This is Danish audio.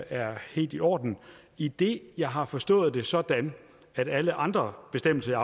er helt i orden idet jeg har forstået det sådan at alle andre bestemmelser